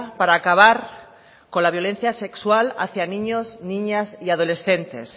para acabar con la violencia sexual hacia niños niñas y adolescentes